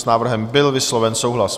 S návrhem byl vysloven souhlas.